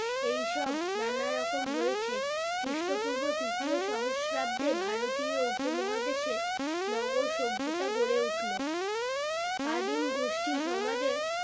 এই সব নানা রকম হয়েছে খ্রিষ্টপূর্ব তৃতীয় সহস্রাবদে ভারতীয় উপমহাদেশে নগর সভ্যতা গড়ে উঠলো আদিম গোষ্ঠী সমাজে